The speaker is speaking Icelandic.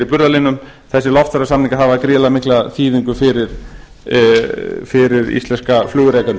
í burðarliðnum þessir loftferðasamningar hafa gríðarlega mikla þýðingu fyrir íslenska flugrekendur